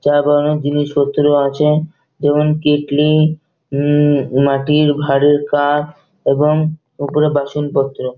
চা বানানোর জিনিসপত্র আছে এবং কেটলি উম মাটির ভারের কাপ এবং ওগুলোর বাসনপত্র।